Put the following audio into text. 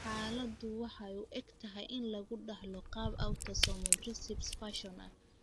Xaaladdu waxay u egtahay in lagu dhaxlo qaab autosomal recessive fashion ah.